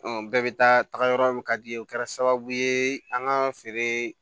bɛɛ bɛ taa taga yɔrɔ min ka di ye o kɛra sababu ye an ka feere